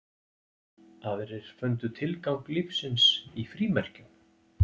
Aðrir fundu tilgang lífsins í frímerkjum.